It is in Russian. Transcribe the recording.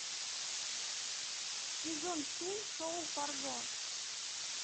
сезон семь шоу фарго